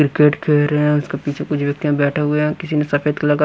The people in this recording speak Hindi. क्रिकेट खेल रहे हैं उसके पीछे कुछ व्यक्तियाँ बैठे हुए हैं किसी ने सफेद कलर का--